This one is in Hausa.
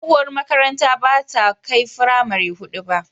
Tsohuwar makarantara bata kai firamari hudu ba.